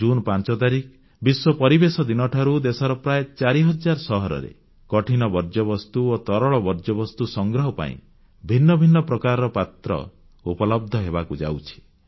June 5 ତାରିଖ ବିଶ୍ୱ ପରିବେଶ ଦିନଠାରୁ ଦେଶର ପ୍ରାୟ 4000 ସହରରେ କଠିନ ବର୍ଜ୍ୟବସ୍ତୁ ଓ ତରଳ ବର୍ଜ୍ୟବସ୍ତୁ ସଂଗ୍ରହ ପାଇଁ ଭିନ୍ନ ଭିନ୍ନ ପ୍ରକାରର ପାତ୍ର ଉପଲବ୍ଧ ହେବାକୁ ଯାଉଛି